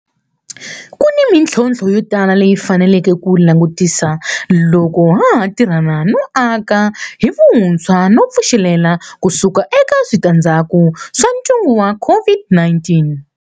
Ku ni mitlhontlho yo tala leyi hi faneleke ku yi langutisa loko ha ha tirhana no aka hi vuntshwa no pfuxelela ku suka eka switandzhaku swa ntungu wa COVID-19.